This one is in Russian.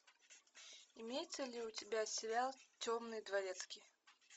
имеется ли у тебя сериал темный дворецкий